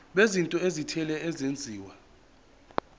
bezinto ezithile ezenziwa